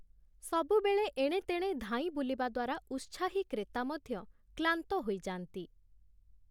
ସବୁବେଳେ ଏଣେତେଣେ ଧାଇଁବୁଲିବା ଦ୍ଵାରା ଉତ୍ସାହୀ କ୍ରେତା ମଧ୍ୟ କ୍ଳାନ୍ତ ହୋଇଯାନ୍ତି ।